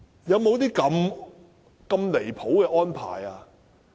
有沒有這麼離譜的安排？